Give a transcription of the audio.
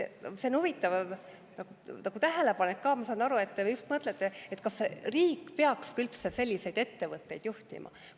See on huvitav tähelepanek, ma saan aru, et te just mõtlete, kas riik peaks üldse selliseid ettevõtteid juhtima.